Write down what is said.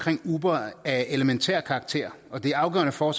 uber af elementær karakter og det er afgørende for